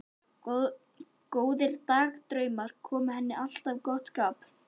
Góðir dagdraumar koma henni alltaf í gott skap.